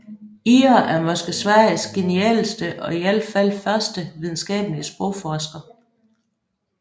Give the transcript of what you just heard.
Ihre er måske Sveriges genialeste og i alt fald første videnskabelige sprogforsker